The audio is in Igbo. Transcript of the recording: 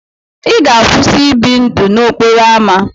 Ị ga-akwụsị ị bi ndụ n'okporo ámá.